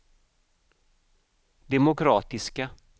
demokratiska